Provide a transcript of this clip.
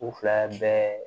U fila bɛɛ